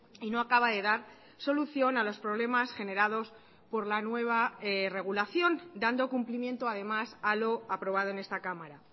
y no acaba de dar solución a los problemas generados por la nueva regulación dando cumplimiento además a lo aprobado en esta cámara